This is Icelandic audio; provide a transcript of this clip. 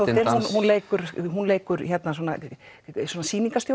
hún leikur hún leikur